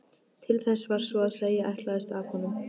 Til þess var svo að segja ætlast af honum.